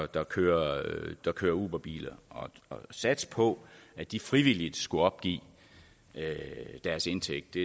der kører der kører uberbil at satse på at de frivilligt skulle opgive deres indtægt